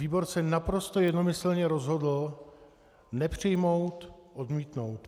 Výbor se naprosto jednomyslně rozhodl nepřijmout, odmítnout.